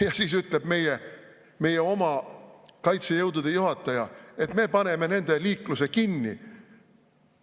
Ja siis ütleb meie oma kaitsejõudude juhataja, et me paneme nende liikluse kinni.